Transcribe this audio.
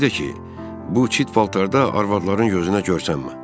Bir də ki, bu çit paltarda arvadların gözünə görünmə.